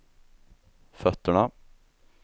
fötterna